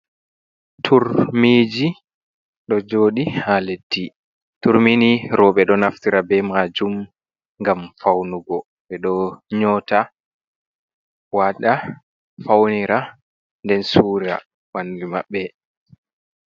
Turmiji ɗo joɗi ha leddi. turmini roɓe ɗo naftira be majum ngam faunugo, ɓeɗo nyota waɗa faunira nden surira ɓandu maɓɓe.